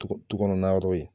Tu kɔnɔ na